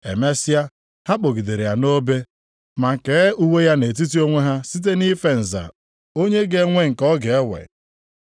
Emesịa, ha kpọgidere ya nʼobe, ma kee uwe ya nʼetiti onwe ha site nʼife nza onye ga-enwe nke ọ ga-ewe.